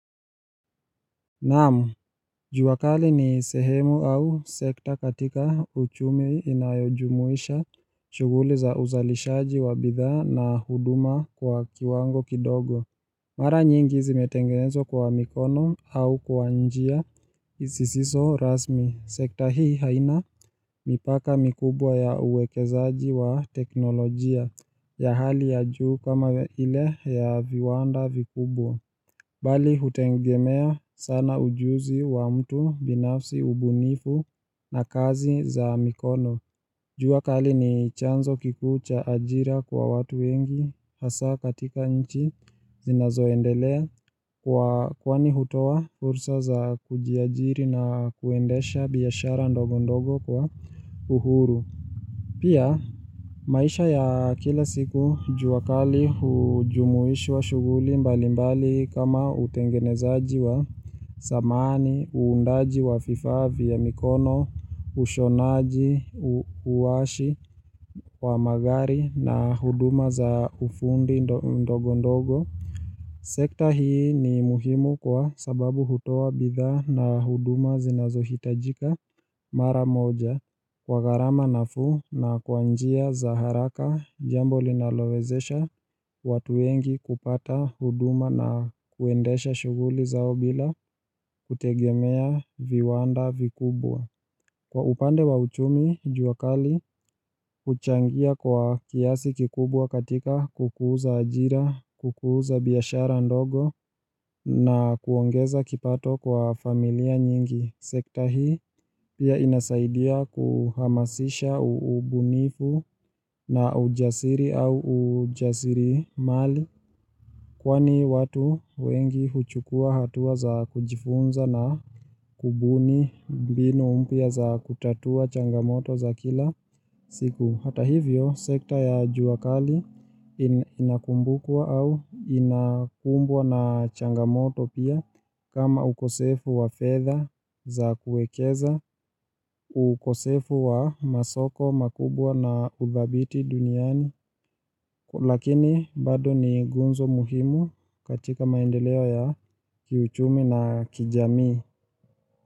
Naam, juakali ni sehemu au sekta katika uchumi inayojumuisha shuguli za uzalishaji wa bidhaa na huduma kwa kiwango kidogo. Mara nyingi zimetengenzwa kwa mikono au kwa njia sisiso rasmi. Sekta hii haina mipaka mikubwa ya uwekezaji wa teknolojia ya hali ya juu kama ile ya viwanda vikubwa. Bali hutegemea sana ujuzi wa mtu binafsi ubunifu na kazi za mikono. Juakali ni chanzo kikuu cha ajira kwa watu wengi hasa katika nchi zinazoendelea kwa kwani hutowa fursa za kujiajiri na kuendesha biashara ndogo ndogo kwa uhuru. Pia maisha ya kila siku juakali hujumuish wa shuguli mbali mbali kama utengenezaji wa samani, uundaji wa fifaa vya mikono, ushonaji, uwashi, wamagari na huduma za ufundi ndogo ndogo. Sekta hii ni muhimu kwa sababu hutoa bidhaa na huduma zinazo hitajika mara moja kwa gharama na fuu na kwanjia za haraka jambo linalowezesha watu wengi kupata huduma na kuendesha shughuli zao bila kutegemea viwanda vikubwa. Kwa upande wa uchumi, juakali, huchangia kwa kiasi kikubwa katika kukuza ajira, kukuza biashara ndogo na kuongeza kipato kwa familia nyingi. Sekta hii pia inasaidia kuhamasisha ubunifu na ujasiri au ujasiri mali. Kwani watu wengi huchukua hatua za kujifunza na kubuni mbinu mpya za kutatua changamoto za kila siku Hata hivyo sekta ya juakali inakumbukaw au inakumbwa na changamoto pia kama ukosefu wa fedha za kuekeza ukosefu wa masoko makubwa na udhabiti duniani Lakini bado ni nguzo muhimu katika maendeleo ya kiuchumi na kijami.